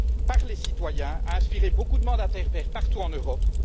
par les citoyens a inspiré beaucoup de mandataires verts partout en Europe.